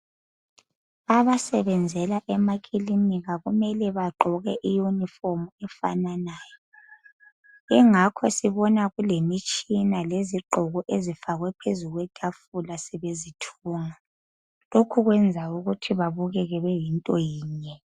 Abasebenzela emakilinika kumele bagqoke i-uniform efananayo. Engakho sibona kulemitshina lezigqoko ezifakwe phezu kwetafula sebezithunga. Lokhu kwenza ukuthi babukeke beyinto yinye.